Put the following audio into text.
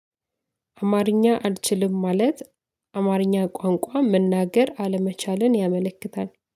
አማርኛ አልችልም ማለት አማርኛ ቋንቋ መናገር አለመቻለልን ያመለክታል